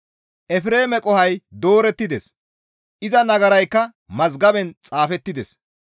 «Efreeme qohoy doorettides; iza nagaraykka mazgaben xaafettides.